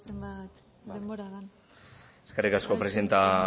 zenbat denbora den eskerrik asko presidente